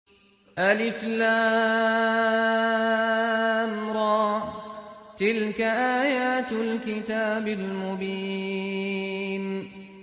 الر ۚ تِلْكَ آيَاتُ الْكِتَابِ الْمُبِينِ